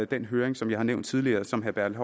den høring som jeg nævnte tidligere og som herre bertel